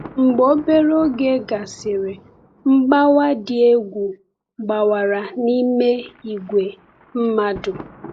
Mgbe obere oge gasịrị, mgbawa dị egwu gbawara n’ime ìgwè mmadụ.